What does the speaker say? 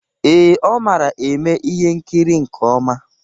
Ee, ọ mara eme ihe nkiri nke ọma.